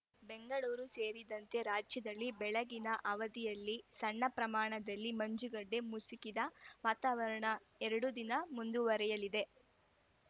ಬೆಂಗಳೂರು ಸೇರಿದಂತೆ ರಾಜ್ಯದಲ್ಲಿ ಬೆಳಗಿನ ಅವಧಿಯಲ್ಲಿ ಸಣ್ಣ ಪ್ರಮಾಣದಲ್ಲಿ ಮಂಜು ಗಡ್ಡೆ ಮುಸುಕಿದ ವಾತಾವರಣ ಎರಡು ದಿನ ಮುಂದುವರೆಯಲಿದೆ